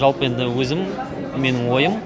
жалпы енді менің өзім менің ойым